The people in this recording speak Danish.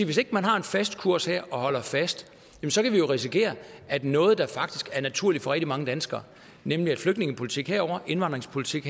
hvis ikke man har en fast kurs her og holder fast kan vi jo risikere at noget der faktisk er naturligt for rigtig mange danskere nemlig at flygtningepolitik er herovre og indvandringspolitik